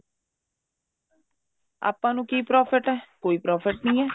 ਆਪਾਂ ਨੂੰ ਕੀ profit ਹੈ ਕੋਈ profit ਨਹੀਂ ਹੈ